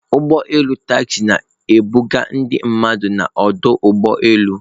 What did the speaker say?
Ụgbọ elu Taxi na-ebuga ndị mmadụ n'ọdụ ụgbọ elu.